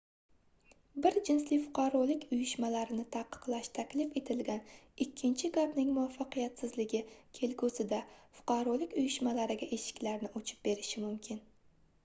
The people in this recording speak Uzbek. bir jinsli fuqarolik uyushmalarini taqiqlash taklif etilgan ikkinchi gapning muvvaffaqiyatsizligi kelgusida fuqarolik uyushmalariga eshiklarni ochib berishi mumkin